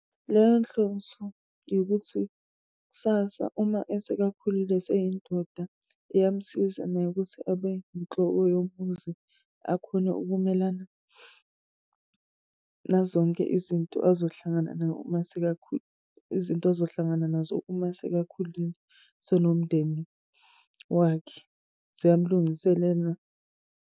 Leyo nhloso yokuthi kusasa uma esekakhulile eseyindoda iyamsiza naye ukuthi abe inhloko yomuzi akhone ukumelana nazonke izinto azohlangana masekakhulile, izinto azohlangana nazo uma sekakhulile senomndeni wakhe. Ziyamlungiselela